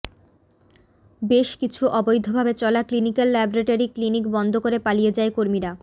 বেশ কিছু অবৈধ ভাবে চলা ক্লিনিক্যাল ল্যাবরেটরি ক্লিনিক বন্ধ করে পালিয়ে যায় কর্মীরা